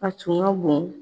A tun ka bon.